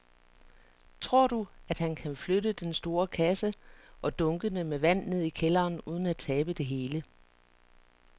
Tror du, at han kan flytte den store kasse og dunkene med vand ned i kælderen uden at tabe det hele?